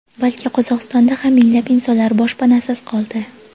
balki Qozog‘istonda ham minglab insonlar boshpanasiz qoldi.